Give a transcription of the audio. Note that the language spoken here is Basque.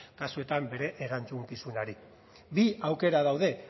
kasuetan bere erantzukizunari bi aukera daude